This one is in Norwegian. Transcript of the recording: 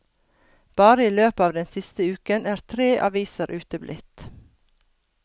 Bare i løpet av den siste uken er tre aviser uteblitt.